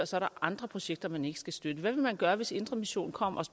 så er andre projekter man ikke skal støtte hvad ville man gøre hvis indre mission kom